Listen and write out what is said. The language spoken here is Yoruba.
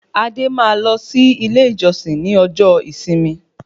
Adé máa lọ sí ilé ìjọsìn ní ọjọ́ ìsinmi